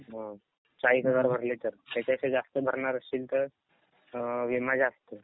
हो चाळीस हजार भरले तर, त्याच्या पेक्षा जास्त भरणार असशील तर अ विमा जास्त.